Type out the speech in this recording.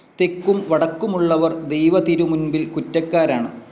തെക്കും വടക്കുമുള്ളവർ ദൈവതിരുമുൻപിൽ കുറ്റക്കാരാണ്.